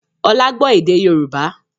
Ọlá gbọ́ èdè Yorùbá